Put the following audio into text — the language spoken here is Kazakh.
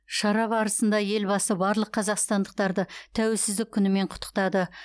шара барысында елбасы барлық қазақстандықтарды тәуелсіздік күнімен құттықтады